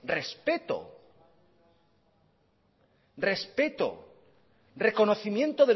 respeto respeto reconocimiento